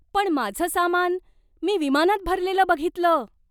पण माझं सामान मी विमानात भरलेलं बघितलं.